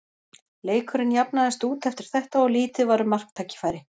Leikurinn jafnaðist út eftir þetta og lítið var um marktækifæri.